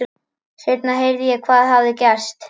Seinna heyrði ég hvað hafði gerst.